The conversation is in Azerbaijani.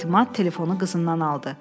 Etimad telefonu qızından aldı.